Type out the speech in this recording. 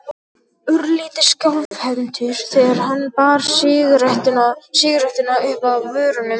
Örlítið skjálfhentur þegar hann bar sígarettuna uppað vörunum.